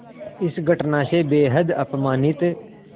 इस घटना से बेहद अपमानित